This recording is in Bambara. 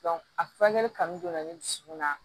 a furakɛli kanu donna ne dusukun na